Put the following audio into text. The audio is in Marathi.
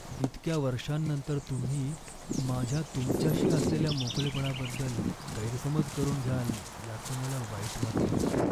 इतक्या वर्षांनंतर तुम्ही माझ्या तुमच्याशी असलेल्या मोकळेपणाबद्दल गैरसमज करून घ्याल याचं मला वाईट वाटतंय.